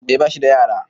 eh bashi da yara